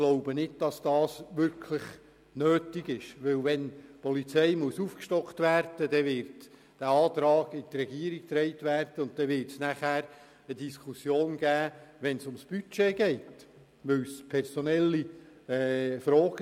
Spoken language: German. Wenn das Personal der Polizei aufgestockt werden muss, wird ein entsprechender Antrag in die Regierung getragen, und die Diskussion dazu wird im Rahmen der Budgetdebatte geführt.